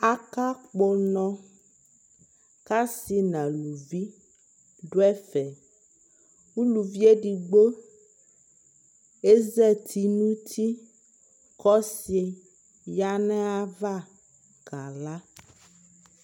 Akakpɔ ʋnɔ kʋ asi nʋ alʋvi dʋ ɛfɛ Ulʋvi edigbo ezati nʋ uti kʋ ɔsi ya nʋ ayava kala